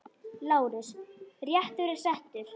LÁRUS: Réttur er settur!